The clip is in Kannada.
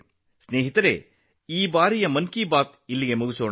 ಸ್ನೇಹಿತರೇ ಈ ಬಾರಿಯ ಮನ್ ಕಿ ಬಾತ್ ಇಲ್ಲಿಗೆ ಮಗಿಯಿತು